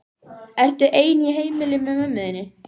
Ertu ein í heimili með mömmu þinni?